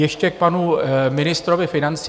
Ještě k panu ministrovi financí.